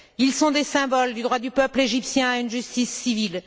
Ils sont des symboles du droit du peuple égyptien à une justice civile.